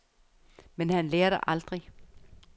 Men han lærer det aldrig.